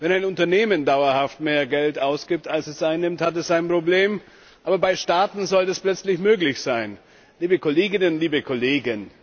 Wenn ein Unternehmen dauerhaft mehr Geld ausgibt, als es einnimmt, hat es ein Problem. Aber bei Staaten soll das plötzlich möglich sein! Liebe Kolleginnen, liebe Kollegen!